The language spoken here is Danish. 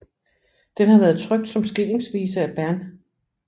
Den har været trykt som skillingsvise af Bernh